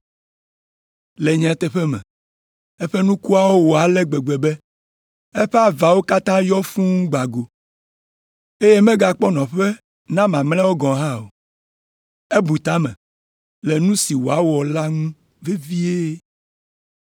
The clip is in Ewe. Le nyateƒe me, eƒe nukuawo wɔ ale gbegbe be eƒe avawo katã yɔ fũu gbã go, eye megakpɔ nɔƒe na mamlɛawo gɔ̃ hã o. Ebu ta me le nu si wòawɔ la ŋu vevie,